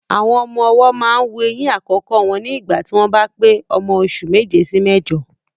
Àwọn ọmọ ọwọ́ máa ń wu eyín àkọ́kọ́ wọn ní ìgbà tí wọ́n bá pé ọmọ oṣù méje sí méjọ.